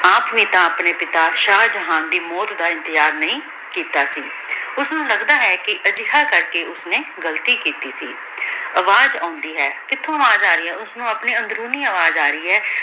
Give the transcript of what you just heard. ਖਵਾਬ ਵਿਚ ਅਪਨੀ ਪਿਤਾ ਸ਼ਾਹ ਜਹਾਂ ਦੀ ਮੋਉਤ ਦਾ ਇਮਤਿਹਾਨ ਵੀ ਕੀਤਾ ਸੀ ਓਸਨੂ ਲਗਦਾ ਹੈ ਕੀ ਆ ਜੇਹਾ ਕਰ ਕੇ ਓਸ੍ਨੀ ਗਲਤੀ ਕੀਤੀ ਸੀ ਅਵਾਜ਼ ਆਉਂਦੀ ਹੈ ਕਿਥੁ ਅਵਾਜ਼ ਆ ਰਹੀ ਹੈ ਓਸਨੂ ਅਪਨੇ ਅਨ੍ਦ੍ਰੋਨੀ ਅਵਾਜ਼ ਆ ਰਹੀ ਹੈ